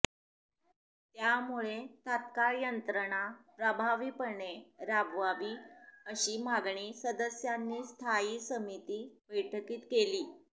त्यामुळे तत्काळ यंत्रणा प्रभावीपणे राबवावी अशी मागणी सदस्यांनी स्थायी समिती बैठकीत केली